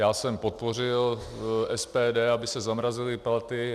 Já jsem podpořil SPD, aby se zamrazily platy.